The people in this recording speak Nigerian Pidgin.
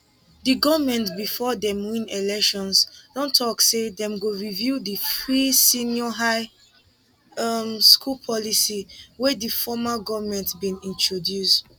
di goment bifor dem win elections don tok say dem go review di free senior high um school policy wey di former goment bin introduce